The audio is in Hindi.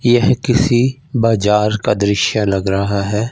यह किसी बाजार का दृश्य लग रहा है।